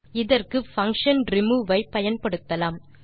இதற்கு function remove ஐ பயன்படுத்தலாம்